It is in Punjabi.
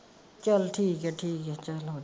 ਚਲ ਠੀਕ ਆ ਠੀਕ ਆ .